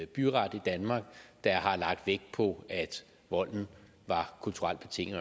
byret i danmark der har lagt vægt på at volden var kulturelt betinget